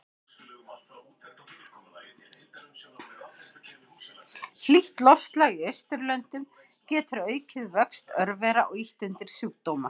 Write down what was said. Hlýtt loftslag í Austurlöndum getur aukið vöxt örvera og ýtt undir sjúkdóma.